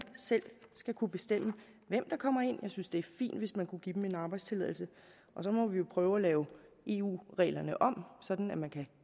selv skal kunne bestemme hvem der kommer ind jeg synes det er fint hvis man kunne give dem arbejdstilladelse og så må vi jo prøve at lave eu reglerne om sådan at man kan